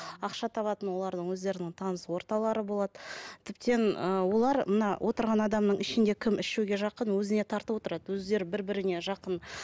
ақша табатын олардың өздерінің таныс орталары болады тіптен ыыы олар мына отырған адамның ішінде кім ішуге жақын өзіне тартып отырады өздері бір біріне жақын